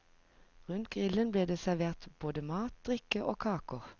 Rundt grillen ble det servert både mat, drikke og kaker.